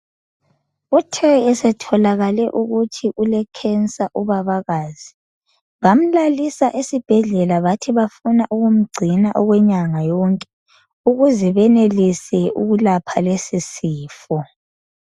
Uthe esetholakale ukuthi ulukensa ubabakazi bamlalisa esibhedlela bathi bafuna ukumgcina okwenyanga yonke ukuze benelise ukulapha lesi sifo.